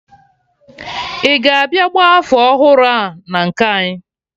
Ị ga-abịa gba afọ ọhụrụ a na nke anyị?